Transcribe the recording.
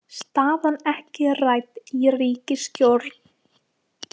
Staðan ekki rædd í ríkisstjórn